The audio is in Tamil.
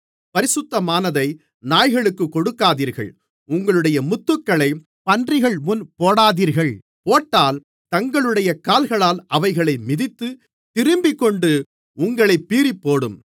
பரிசுத்தமானதை நாய்களுக்குக் கொடுக்காதீர்கள் உங்களுடைய முத்துக்களைப் பன்றிகள்முன் போடாதீர்கள் போட்டால் தங்களுடைய கால்களால் அவைகளை மிதித்து திரும்பிக்கொண்டு உங்களைப் பீறிப்போடும்